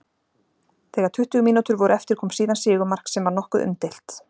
Þegar tuttugu mínútur voru eftir kom síðan sigurmark sem var nokkuð umdeilt.